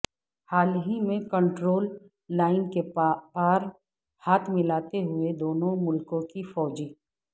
حال ہی میں کنٹرول لائن کے پار ہاتھ ملاتے ہوئے دونوں ملکوں کے فوجی